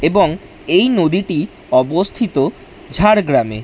এবং এই নদীটি অবস্থিত ঝাড়গ্রামে।